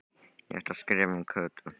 Ég ætla að skrifa um Kötu